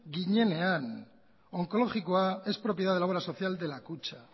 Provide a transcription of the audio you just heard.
ginean onkologikoa es propiedad de la obra social de la kutxa